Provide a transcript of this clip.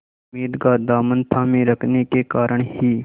उम्मीद का दामन थामे रखने के कारण ही